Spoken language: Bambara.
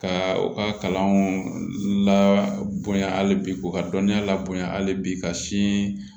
Ka u ka kalanw la bonya hali bi ko ka dɔniya labo hali bi ka sin